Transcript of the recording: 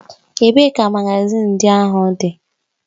Ebee ka magazin ndị ahụ dị?